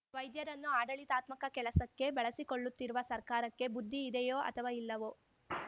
ವೈದ್ಯರನ್ನು ಆಡಳಿತಾತ್ಮಕ ಕೆಲಸಕ್ಕೆ ಬಳಸಿಕೊಳ್ಳುತ್ತಿರುವ ಸರ್ಕಾರಕ್ಕೆ ಬುದ್ಧಿ ಇದೆಯೋ ಅಥವಾ ಇಲ್ಲವೋ